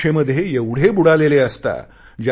परीक्षेमध्ये एवढे बुडालेले असता